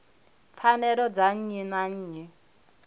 pfanelo dza nnyi na nnyi